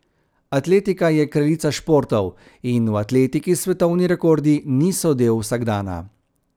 Atletika je kraljica športov in v atletiki svetovni rekordi niso del vsakdana.